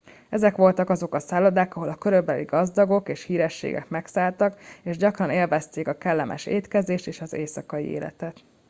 ezek voltak azok a szállodák ahol a korabeli gazdagok és hírességek megszálltak és gyakran élvezték a kellemes étkezést és az éjszakai életet